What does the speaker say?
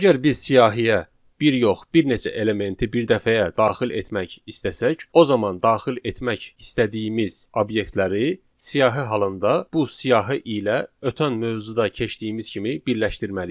Əgər biz siyahıya bir yox, bir neçə elementi birdəfəyə daxil etmək istəsək, o zaman daxil etmək istədiyimiz obyektləri siyahı halında bu siyahı ilə ötən mövzuda keçdiyimiz kimi birləşdirməliyik.